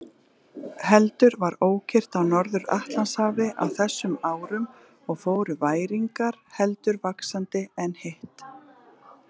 Heldur var ókyrrt á Norður-Atlantshafi á þessum árum og fóru væringar heldur vaxandi en hitt.